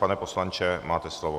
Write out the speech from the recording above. Pane poslanče, máte slovo.